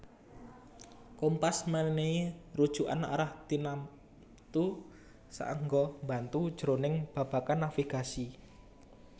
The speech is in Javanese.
Kompas mènèhi rujukan arah tinamtu saéngga mbantu jroning babagan navigasi